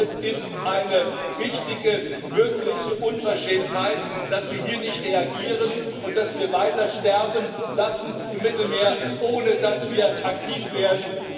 Es ist eine richtige, wirkliche Unverschämtheit, dass wir hier nicht reagieren und dass wir weiter sterben lassen im Mittelmeer, ohne dass wir aktiv werden.